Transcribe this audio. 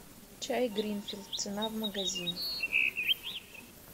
чай гринфилд цена в магазине